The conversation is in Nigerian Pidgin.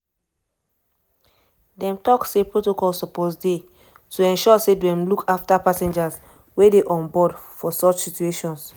dem tok say protocol suppose dey to ensure say dem look afta passengers wey dey onboard for such situations.